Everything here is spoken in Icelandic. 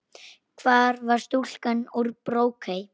Hvar var stúlkan úr Brokey?